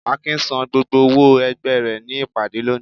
Akin sán gbógbó òwó ẹgbẹ re ní ìpàdé lóni